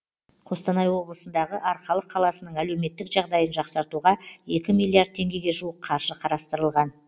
қостанай облысындағы арқалық қаласының әлеуметтік жағдайын жақсартуға екі миллиард теңгеге жуық қаржы қарастырылған